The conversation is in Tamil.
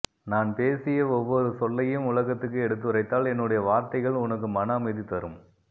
நான் பேசிய ஒவ்வொரு சொல்லையும் உலகத்துக்கு எடுத்துரைத்தால் என்னுடைய வார்த்தைகள் உனக்கு மன அமைதி தரும்